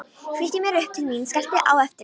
Flýtti mér upp til mín, skellti á eftir mér.